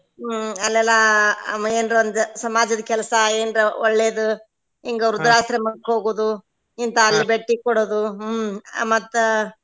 ಹ್ಮ್ ಅಲ್ಲೆಲ್ಲ ಏನ್ರಾ ಒಂದ್ ಸಮಾಜದ ಕೆಲ್ಸಾ ಏನ್ರಾ ಒಳ್ಳೇದ್ ಹಿಂಗ ವೃದ್ದಾಶ್ರಮಕ್ ಹೋಗುದು ಇಂತಲ್ಲಿ ಬೆಟ್ಟಿ ಕೊಡುದು ಹ್ಮ್ ಮತ್ತ.